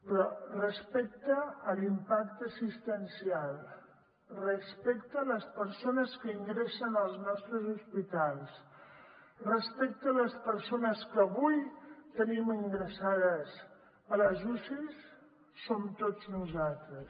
però respecte a l’impacte assistencial respecte a les persones que ingressen als nostres hospitals respecte a les persones que avui tenim ingressades a les ucis som tots nosaltres